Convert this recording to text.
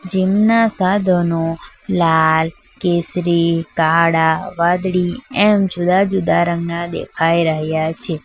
Gym ના સાધનો લાલ કેસરી કાળા વાદળી એમ જુદા જુદા રંગના દેખાઈ રહ્યા છે.